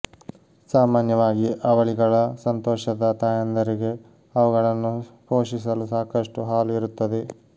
ಸಾಮಾನ್ಯವಾಗಿ ಅವಳಿಗಳ ಸಂತೋಷದ ತಾಯಂದಿರಿಗೆ ಅವುಗಳನ್ನು ಪೋಷಿಸಲು ಸಾಕಷ್ಟು ಹಾಲು ಇರುತ್ತದೆ